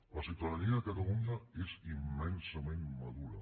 la ciutadania de catalunya és immensament madura